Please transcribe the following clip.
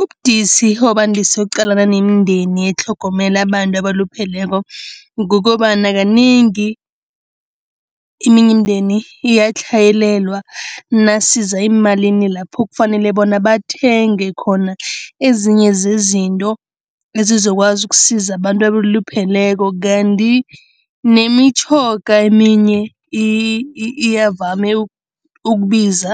Ubudisi obandise ukuqalana nemindeni etlhogomela abantu abalupheleko kukobana kanengi iminye imindeni iyatlhayelelwa nasiza eemalini lapho kufanele bona bathenge khona ezinye zezinto ezizokwazi ukusiza abantu abalupheleko kanti nemitjhoga eminye iyavame ukubiza,